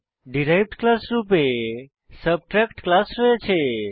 derived class রূপে subtract class রয়েছে